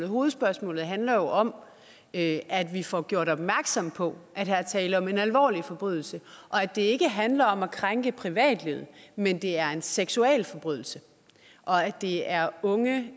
hovedspørgsmålet handler jo om at vi får gjort opmærksom på at her er tale om en alvorlig forbrydelse og at det ikke handler om at krænke privatlivet men at det er en seksualforbrydelse og at det er unge